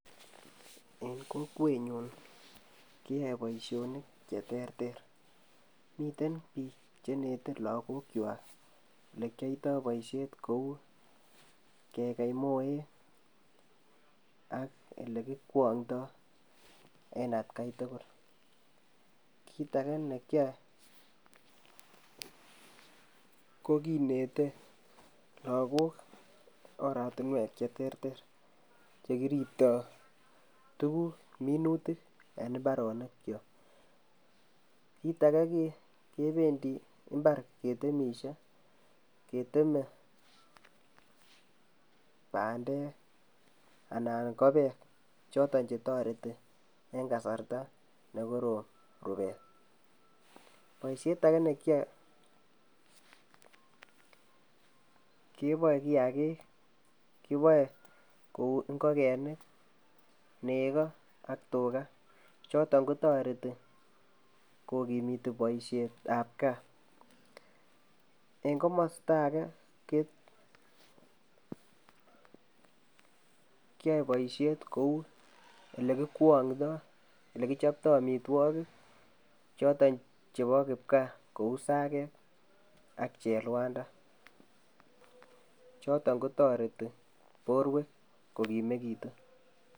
Eng' kokwet nyun kiyoe boisionik che terter. Miten biik cheineten lagok kwak ole kioitoi boisiet kou kegei moek ak ole kikowong'ndoi en atkai tugul. Kiit age ne kiyoe, ko kinetei logok oratunwek che terter che kiribtoi tuguk minutik eng' imbaronik kyok. kiit age kebendi imbar ketemishei, keteme bandek anan ko beek chotok che toreti eng' kasarta ne korom rubet. Boisiet age ne kiyoe, keboe kiy age kiboe kou ngokenik, nego ak tuga chotok kotoreti kokimitu boisietab gaa. Eng' komasta age, kiyioe boisiet kou ole kikwong'ndoi, ole kichoptoi amitwogik chotok chebo kibgaa kou sageek ak chelwanda chotok kotoreti borwek kokimegitu.